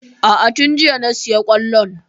A'a tun jiya na sayi kwallon.